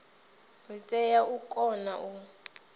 ri tea u kona u